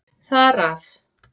Þar af.